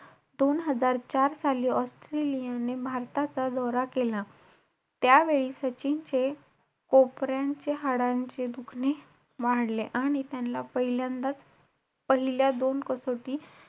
दोन हजार चार साली ऑस्ट्रेलियाने भारताचा दौरा केला. त्यावेळी सचिनचे कोपऱ्यांचे हाडांचे दुखणे वाढले. आणि त्यान्ला पहिल्यांदाच पहिल्या दोन कसोटी,